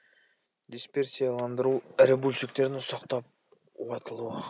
дисперсияландыру ірі бөлшектердің ұсақталып уатылуы